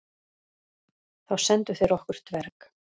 Þá sendu þeir okkur dverg.